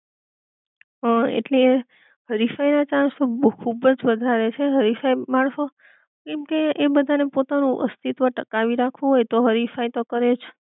હમ, હ એટલે હરીફાઈ ના ચાન્સ તો ખુબજ વધારે છે, હરીફાઈ માણસો, કેમકે એ બધા ને પોતાનું અસ્તિત્વ ટકાવી રાખવું હોય તો હરીફાઈ તો કરે જ